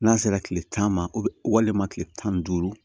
N'a sera kile tan ma walima kile tan ni duuru